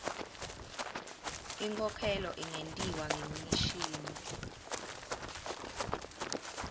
inkhokhelo ingentiwa ngemishini